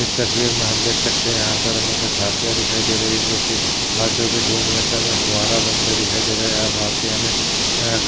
इस तस्वीर मे हम देख सखते है यहा पर हमे कुछ हाथीया दिखाई रही है जो की हाथीयो के सूंड मे से हमे फवारा बनते दिखाई दे रहा है यहा हाथी हमे